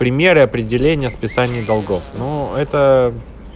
примеры определения списание долгов но это